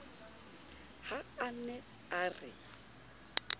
ha a ne a re